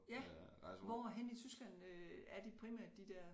Ja hvorhenne i Tyskland øh er de primært de dér